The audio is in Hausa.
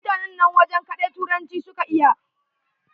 Mutanen nan wajen kaɗai Turani su ka iya.